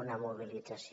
una mobilització